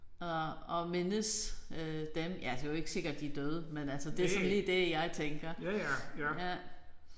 Og og mindes øh dem ja det jo ikke sikkert de er døde men altså det sådan lige det jeg tænker